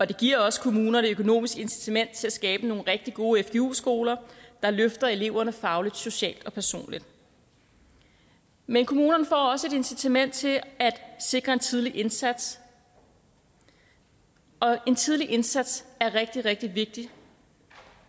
det giver også kommunerne et økonomisk incitament til at skabe nogle rigtig gode fgu skoler der løfter eleverne fagligt socialt og personligt men kommunerne får også et incitament til at sikre en tidlig indsats og en tidlig indsats er rigtig rigtig vigtig